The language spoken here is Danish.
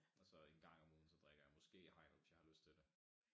Og så en gang om ugen så drikker jeg måske i hegnet hvis jeg har lyst til det